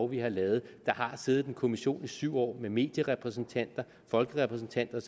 vi har lavet der har siddet en kommission i syv år med medierepræsentanter folkerepræsentanter